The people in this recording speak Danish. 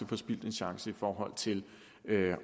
forspildt en chance i forhold til